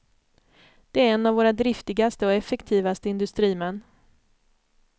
Det är en av våra driftigaste och effektivaste industrimän.